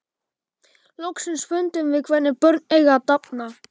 Loksins fundum við hvernig börn eiga að dafna.